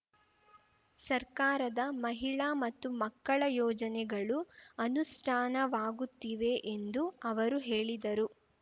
ಸರ್ಕಾರದ ಮಹಿಳಾ ಮತ್ತು ಮಕ್ಕಳ ಯೋಜನೆಗಳು ಅನುಷ್ಠಾನವಾಗುತ್ತಿವೆ ಎಂದು ಅವರು ಹೇಳಿದರು